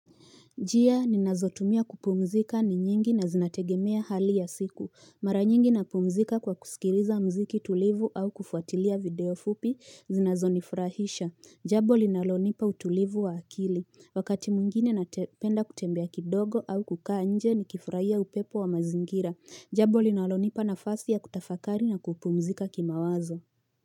Njia ninazotumia kupumzika ni nyingi na zinategemea hali ya siku. Mara nyingi napumzika kwa kusikiliza muziki tulivu au kufuatilia video fupi zinazonifurahisha. Jambo linalonipa utulivu wa akili. Wakati mwingine napenda kutembea kidogo au kukaa nje nikifurahia upepo wa mazingira. Jambo linalonipa nafasi ya kutafakari na kupumzika kimawazo.